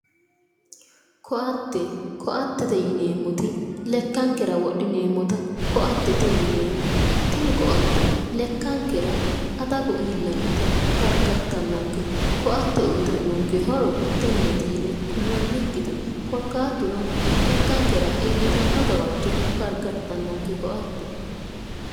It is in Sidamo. koatte koattete yineemmoti lekkankera wodhineemmota koattete yineemmo tini koatte lekkankera adagu iillannota gargartannonkete koatte uyitannonke horo tenneeti yine kullannikkite korkaatuno lekkankera iillitannonke gawajjo gargartannonke koatte